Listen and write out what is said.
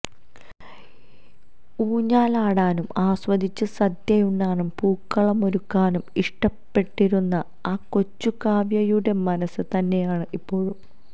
ഊഞ്ഞാലാടാനും ആസ്വദിച്ചു സദ്യയുണ്ണാനും പൂക്കളമൊരുക്കാനും ഇഷ്ടപ്പെട്ടിരുന്ന ആ കൊച്ചുകാവ്യയുടെ മനസ് തന്നെയാണ് ഇപ്പോഴും